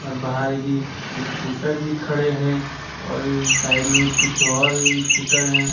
बाहर की स्कूटर भी खड़े हैं और साइड में कुछ और स्कूटर है।